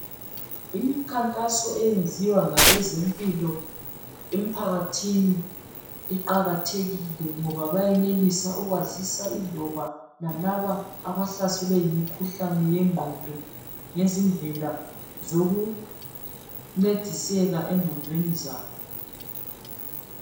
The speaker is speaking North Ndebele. Imikhankaso eyenziwa ngabezempilo emphakathini iqakathekile ngoba bayenelisa ukwazisa iloba lalaba abahlaselwe yimkhuhlane yengqondo ngezindlela zokuncediseka engqondweni zabo.